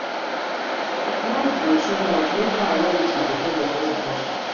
if noise go too much mek choir no use microphone for praise and worship